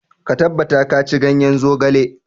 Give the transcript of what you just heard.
Ka tabbata ka ci ganyen zogale.